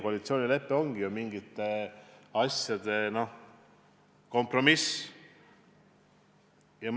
Koalitsioonilepe ongi mingite asjade kompromiss.